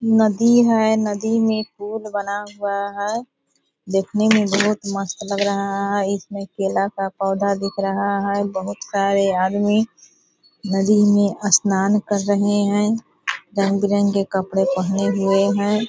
नदी है नदी मे पुल बना हुआ है | देखने मे बहुत मस्त लग रहा है इसमें केला का पौधा दिख रहा है | बहुत सारे आदमी नदी मे स्नान कर रहे हैं | रंग-बिरंगे कपड़े पहने हुए हैं ।